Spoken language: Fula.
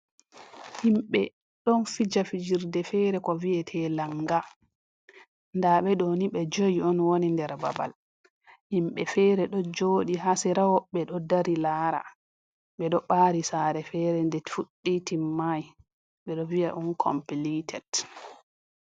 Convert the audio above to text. Himɓe ɗon fija fijirde fere ko vi'ete langa. Ndaa ɓe ɗoni ɓe joi on woni nder babal. Himɓe fere do joɗi haa sera woɓɓe ɗo dari laara, ɓe ɗo ɓaari saare fere nde fuɗɗi timmai, ɓeɗo vi'a uncompleted.